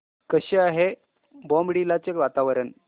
कसे आहे बॉमडिला चे वातावरण